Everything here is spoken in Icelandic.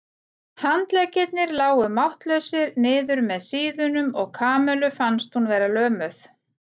Handleggirnir lágu máttlausir niður með síðunum og Kamillu fannst hún vera lömuð.